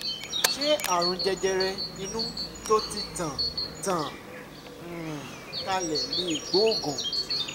ṣé ààrùn jẹjẹrẹ inú tó ti tàn tàn um kálẹ̀ lè gbóògùn?